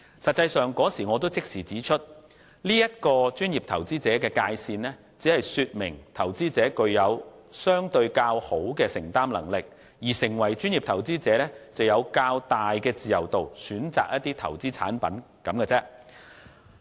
實際上，我當時已立即指出，專業投資者的界線只是說明投資者具有相對較好的承擔能力，而成為專業投資者只是有較大的自由度選擇投資產品而已。